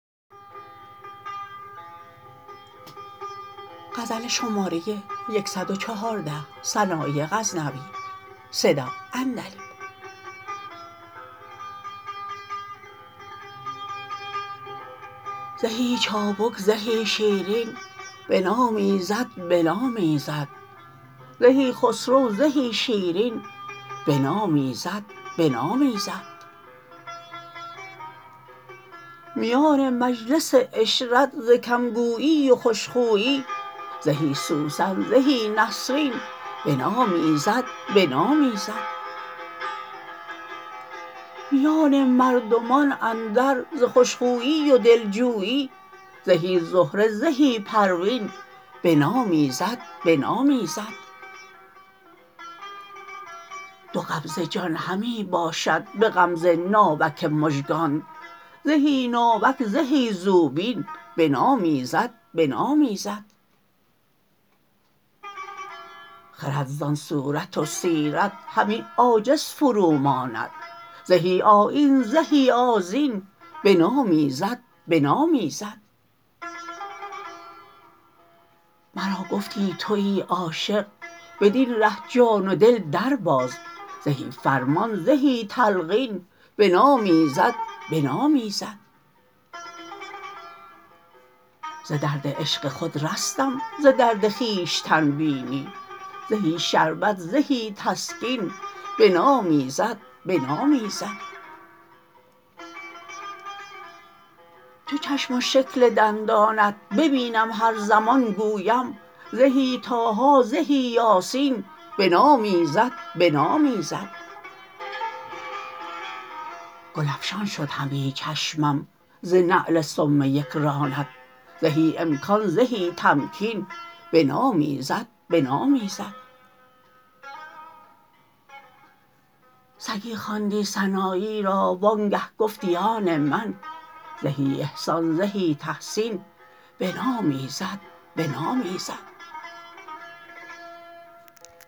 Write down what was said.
زهی چابک زهی شیرین بنامیزد بنامیزد زهی خسرو زهی شیرین بنامیزد بنامیزد میان مجلس عشرت ز کم گویی و خوشخویی زهی سوسن زهی نسرین بنامیزد بنامیزد میان مردمان اندر ز خوش خویی و دلجویی زهی زهره زهی پروین بنامیزد بنامیزد دو قبضه جان همی باشد به غمزه ناوک مژگانت زهی ناوک زهی زوبین بنامیزد بنامیزد خرد زان صورت و سیرت همی عاجز فروماند زهی آیین زهی آذین بنامیزد بنامیزد مرا گفتی تویی عاشق بدین ره جان و دل در باز زهی فرمان زهی تلقین بنامیزد بنامیزد ز درد عشق خود رستم ز درد خویشتن بینی زهی شربت زهی تسکین بنامیزد بنامیزد چو چشم و شکل دندانت ببینم هر زمان گویم زهی طاها زهی یاسین بنامیزد بنامیزد گل افشان شد همی چشمم ز نعل سم یک رانت زهی امکان زهی تمکین بنامیزد بنامیزد سگی خواندی سنایی را وانگه گفتی آن من زهی احسان زهی تحسین بنامیزد بنامیزد